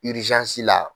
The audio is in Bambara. la